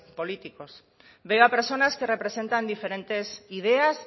políticos veo a personas que representan diferentes ideas